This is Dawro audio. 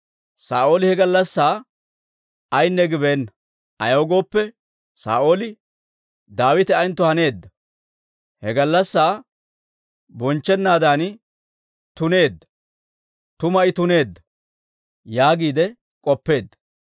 Saa'ooli he gallassaa ayinne gibeenna; ayaw gooppe, Saa'ooli, «Daawite ayentto haneedda; he gallassaa bonchchennaadan tuneedda; tuma I tuneedda» yaagiide k'oppeedda.